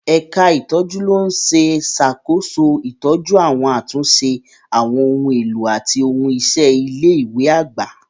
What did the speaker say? Ẹ̀ka ìtọ́jú ló ń ṣàkóso ìtọ́jú àti àtúnṣe àwọn ohun èlò àti ohun iṣẹ́ ilé ìwé àgbà.